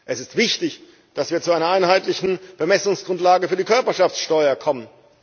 Es ist wichtig, dass wir zu einer einheitlichen Bemessungsgrundlage für die Körperschaftssteuer kommen.